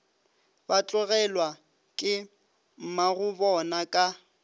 ba tlogelwa ke mmagobona ka